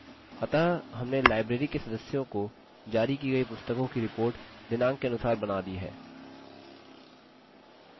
अतः हमने library के सदस्यों को जारी की गई पुस्तकों की report दिनाँक के अनुसार बना ली है